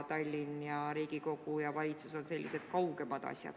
Tallinn, Riigikogu ja valitsus on sellised kaugemad asjad.